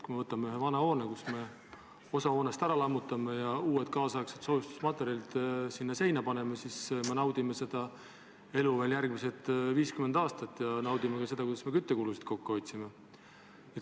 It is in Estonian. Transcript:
Kui me võtame ühe vana hoone, millest me osa ära lammutame ja muu osa soojustame uute kaasaegsete materjalidega, siis me naudime seda hoonet veel järgmised 50 aastat ja naudime ka seda, kui palju me küttekulusid kokku hoiame.